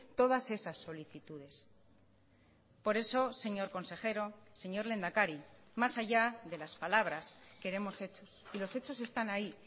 todas esas solicitudes por eso señor consejero señor lehendakari más allá de las palabras queremos hechos y los hechos están ahí